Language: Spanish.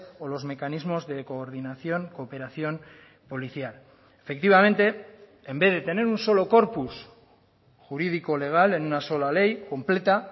o los mecanismos de coordinación cooperación policial efectivamente en vez de tener un solo corpus jurídico legal en una sola ley completa